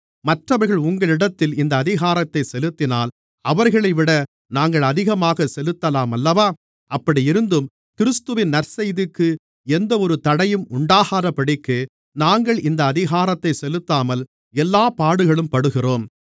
மற்றவர்கள் உங்களிடத்திலே இந்த அதிகாரத்தைச் செலுத்தினால் அவர்களைவிட நாங்கள் அதிகமாகச் செலுத்தலாமல்லவா அப்படியிருந்தும் கிறிஸ்துவின் நற்செய்திக்கு எந்தவொரு தடையும் உண்டாகாதபடிக்கு நாங்கள் இந்த அதிகாரத்தைச் செலுத்தாமல் எல்லாப் பாடுகளும் படுகிறோம்